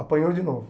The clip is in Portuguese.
Apanhou de novo.